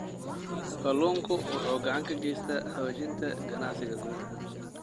Kalluunku waxa uu gacan ka geystaa xoojinta ganacsiga gudaha.